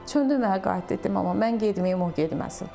Döndürməyə qayıtdı dedi: "Ana, mən getməyim, o getməsin."